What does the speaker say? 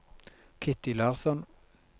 Kitty Larsson